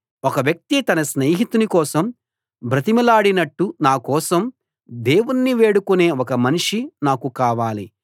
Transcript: ఒక వ్యక్తి తన స్నేహితుని కోసం బ్రతిమిలాడినట్టు నా కోసం దేవుణ్ణి వేడుకునే ఒక మనిషి నాకు కావాలి